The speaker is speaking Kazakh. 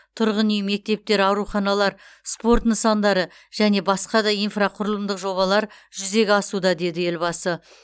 тұрғын үй мектептер ауруханалар спорт нысандары және басқа да инфрақұрылымдық жобалар жүзеге асуда деді елбасы